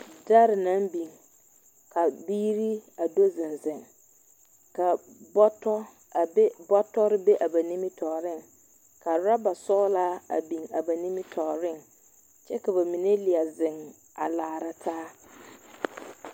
Dɛre naŋ biŋ, ka biiri a do zeŋ zeŋ, ka bɔtɔ, a be bɔtɔre be ba nimitɔɔreŋ, ka woraba sɔglaa a be ba nimitɔɔreŋ kyɛ ka bamine leɛ zeŋ a laara taa. 13369